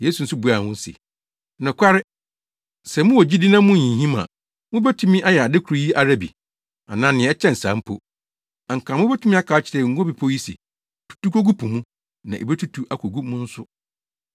Yesu nso buaa wɔn se, “Nokware, sɛ mowɔ gyidi na munnhinhim a, mubetumi ayɛ ade koro yi ara bi, anaa nea ɛkyɛn saa mpo. Anka mubetumi aka akyerɛ Ngo Bepɔw yi se, ‘Tutu kogu po mu,’ na ebetutu akogu mu nso.